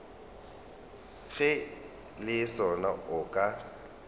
ge le sona o ka